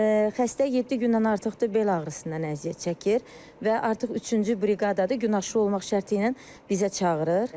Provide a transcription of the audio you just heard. Xəstə yeddi gündən artıqdır bel ağrısından əziyyət çəkir və artıq üçüncü briqadadır gün aşırı olmaq şərti ilə bizə çağırır.